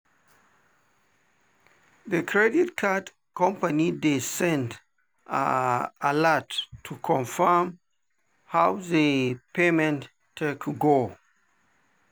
the credit card company dey send alert to confirm how the payment take go.